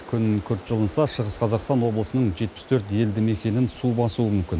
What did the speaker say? күн күрт жылынса шығыс қазақстан облысының жетпіс төрт елді мекенін су басуы мүмкін